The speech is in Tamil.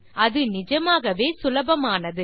இது நிஜமாகவே சுலபமானது